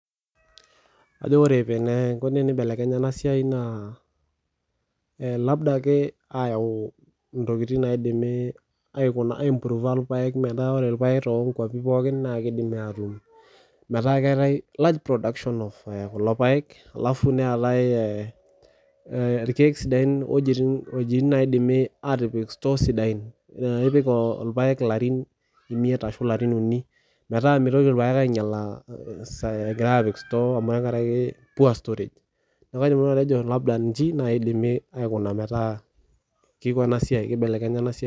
Kajo ore enikoni tenibelekenya ena siai naa teneyauni irpaek metaa ore too nkwapii pookin naa kidimi atun metaa keetae large production orpaek neetae irkeek ewuejitin nidim atipika store sidain nipik elarin miet ashu elarin tomon neeku mitoki irpaek ainyiala tenkaraki poor storage neeku kajo Nanu eji edimi aikuna metaa kibelekenya ena siai